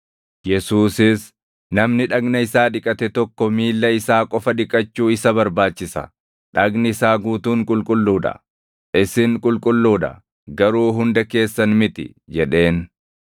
Yesuusis, “Namni dhagna isaa dhiqate tokko miilla isaa qofa dhiqachuu isa barbaachisa; dhagni isaa guutuun qulqulluu dha. Isin qulqulluu dha; garuu hunda keessan miti” jedheen.